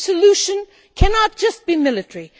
The solution cannot just be military.